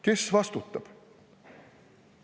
Kes vastutab?